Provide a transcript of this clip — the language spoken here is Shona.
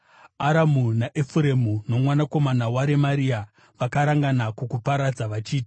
Aramu naEfuremu nomwanakomana waRemaria vakarangana kukuparadza vachiti,